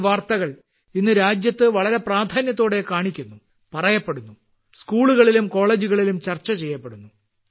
ഈ വാർത്തകൾ ഇന്ന് രാജ്യത്ത് പ്രാധാന്യത്തോടെ കാണിക്കുന്നു പറയപ്പെടുന്നു സ്കൂളുകളിലും കോളേജുകളിലും ചർച്ച ചെയ്യപ്പെടുന്നു